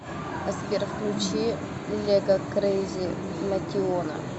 сбер включи лего крейзи мотиона